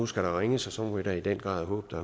skal der ringes og så må vi da i den grad håbe